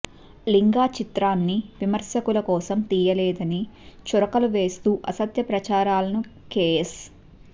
లింగా చిత్రాన్ని విమర్శకుల కోసం తీయలేదని చురకలు వేస్తూ అసత్య ప్రచారాలను కేఎస్